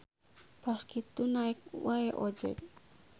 Tos kitu naek wae ojeg.